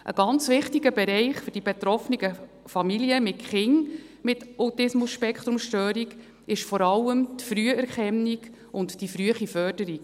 Ein ganz wichtiger Bereich für die betroffenen Familien mit Kindern mit ASS ist vor allem die Früherkennung und die frühe Förderung.